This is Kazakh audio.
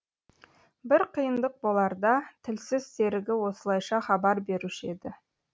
бір қиындық боларда тілсіз серігі осылайша хабар беруші еді